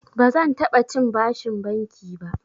Bazan taɓa cin bashin banki ba.